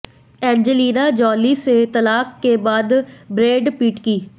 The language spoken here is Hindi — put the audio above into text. एंजेलिना जॉली से तलाक के बाद ब्रैड पिट की